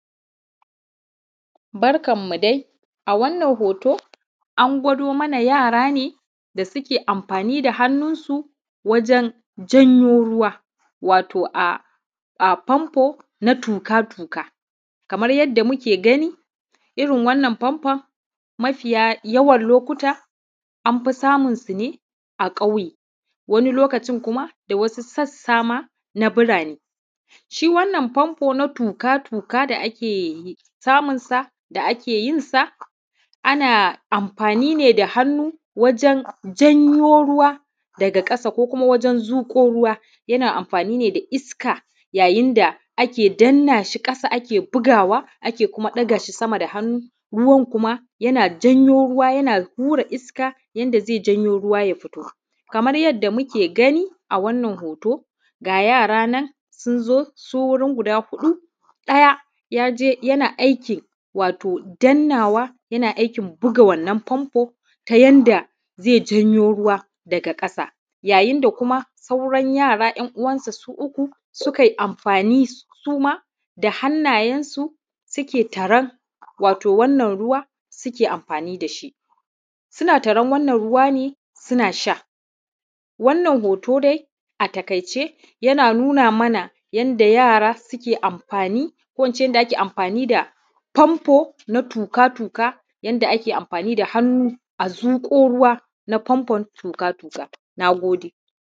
barkan mu dai a wannan hoto an gwado mana yara ne da suke amfani da hannun su wajen janyo ruwa wato a famfo na tuƙatuƙa kamar yanda muke gani irin wannan famfo mafiya yawar lokuta an fi samun su ne a ƙauye wani lokacin da kuma wasu sassa ma na birane shi wannan famfo na tuƙatuƙa da ake samun sa da ake yin sa ana amfani ne da hannu wajen janyo ruwa daga ƙasa ko kuma wajen zuƙo ruwa yana amfani ne da iska yayin da ake danna shi ƙasa ake bugawa ake ɗaga shi kuma sama da hannu, ruwan kuma yana janyo ruwa yana hura iska yanda zai janyo ruwa ya fito kamar yanda muke gani a wannan hoto ga yara nan sun zo su wurin guda huɗu ɗaya ya je yana aiki wato dannawa yana aikin buga wannan famfo ta yanda zai janyo ruwa daga ƙasa yayin da kuma sauran yara `yan uwansa su uku su kai amfani suma da hannayensu suke taran watau wannan ruwa suke amfani da shi suna taron wannan ruwa ne suna sha wannan hoto dai a taƙaice yana nuna mana yanda yara suke amfani ko ince yanda ake mafani da famfo na tuƙatuƙa yanda ake amfani da hannu a zuƙo ruwa na famfon tuƙatuƙa na gode.